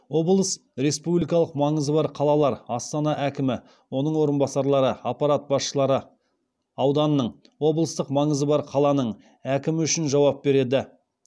облыс республикалық маңызы бар қалалар астана әкімі оның орынбасарлары аппарат басшысы ауданның әкімі үшін жауап береді